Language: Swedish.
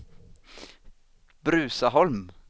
Bruzaholm